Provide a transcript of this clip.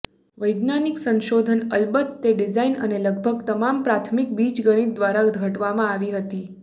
વૈજ્ઞાનિક સંશોધન અલબત્ત તે ડિઝાઇન અને લગભગ તમામ પ્રાથમિક બીજગણિત દ્વારા ઘડવામાં આવી હતી